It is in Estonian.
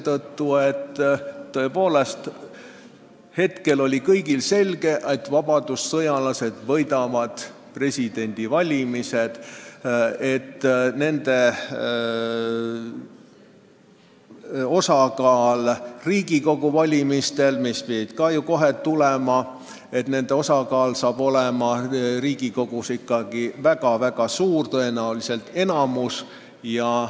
Kõigile oli tõepoolest selge, et vabadussõjalased võidavad presidendivalimised ja et nende osakaal Riigikogus, mille valimised pidid ju ka kohe tulema, saab olema väga suur, tõenäoliselt saavutavad nad enamuse.